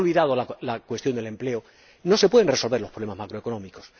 Cuando se ha olvidado la cuestión del empleo, no se pueden resolver los problemas macroeconómicos.